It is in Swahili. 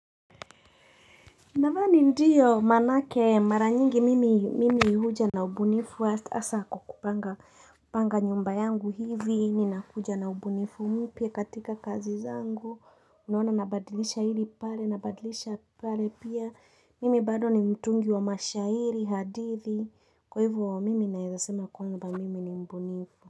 Nadhani ndiyo manake mara nyingi mimi huja na ubunifu asa kukupanga nyumba yangu hivi ni nakuja na ubunifu mipya katika kazi zangu unawana nabadilisha hili pale nabadilisha pale pia mimi bado ni mtungi wa mashahiri hadithi kwa hivo wa mimi naezasema kwamba mimi ni mbunifu.